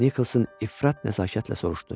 Nikkelsin ifrat nəzakətlə soruşdu.